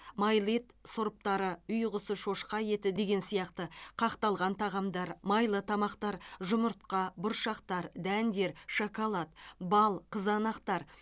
майлы ет сұрыптары үй құсы шошқа еті деген сияқты қақталған тағамдар майлы тамақтар жұмыртқа бұршақтар дәндер шоколад бал қызанақтар